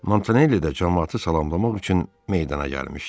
Montanelli də camaatı salamlamaq üçün meydana gəlmişdi.